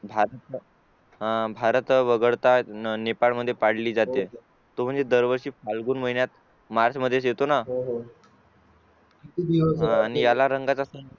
अह भारत वगळता नेपाळ मध्ये पाळली जाते तो म्हणजे दरवर्षी फाल्गुन महिन्यात MARCH मध्ये येतो ना आणि याला रंगाचा